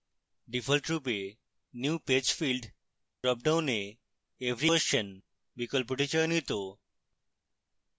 ডিফল্টরূপে new page field dropdown every question বিকল্পটি চয়নিত